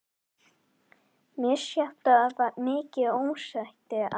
Misjafnlega mikið ósætti við lífið sjálft, en alltaf áleitinn.